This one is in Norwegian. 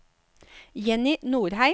Jenny Norheim